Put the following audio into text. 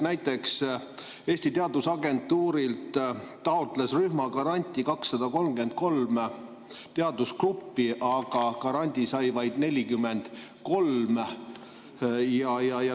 Näiteks Eesti Teadusagentuurilt taotles rühmagranti 233 teadusgruppi, aga grandi sai vaid 43.